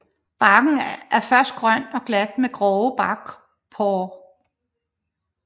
Barken er først grøn og glat med grove barkporer